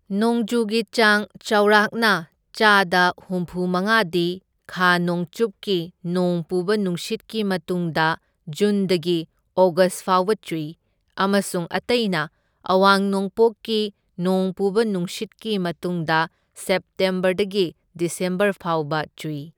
ꯅꯣꯡꯖꯨꯒꯤ ꯆꯥꯡ ꯆꯥꯎꯔꯥꯛꯅ ꯆꯥꯗ ꯍꯨꯝꯐꯨ ꯃꯉꯥꯗꯤ ꯈꯥ ꯅꯣꯡꯆꯨꯞꯀꯤ ꯅꯣꯡ ꯄꯨꯕ ꯅꯨꯡꯁꯤꯠꯀꯤ ꯃꯇꯨꯡꯗ ꯖꯨꯟꯗꯒꯤ ꯑꯣꯒꯁ ꯐꯥꯎꯕ ꯆꯨꯏ, ꯑꯃꯁꯨꯡ ꯑꯇꯩꯅ ꯑꯋꯥꯡ ꯅꯣꯡꯄꯣꯛꯒꯤ ꯅꯣꯡ ꯄꯨꯕ ꯅꯨꯡꯁꯤꯠꯀꯤ ꯃꯇꯨꯡꯗ ꯁꯦꯞꯇꯦꯝꯕꯔꯗꯒꯤ ꯗꯤꯁꯦꯝꯕꯔ ꯐꯥꯎꯕ ꯆꯨꯏ꯫